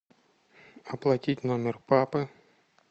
оплатить номер папы